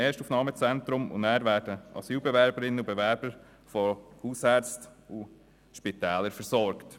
Danach werden die Asylbewerberinnen und Asylbewerber von Hausärzten und Spitälern versorgt.